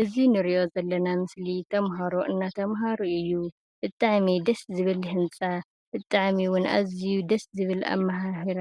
እዚ ንርእዮ ዘለና ምስሊ ተማሃሮ እንዳተማሃሩ እዩ። ብጣዕሚ ደስ ዝብል ህንፃ፣ ብጣዕሚ እውን ኣዝዩ ደስ ዝብል ኣማሃህራ፣